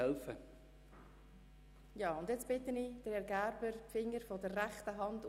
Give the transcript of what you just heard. Damit ist die Vereidigung abgeschlossen.